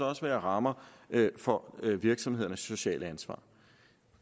også være rammer for virksomhedernes sociale ansvar